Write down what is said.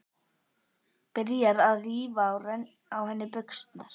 Byrjar að rífa frá henni buxurnar.